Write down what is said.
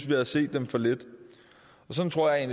havde set dem for lidt sådan tror jeg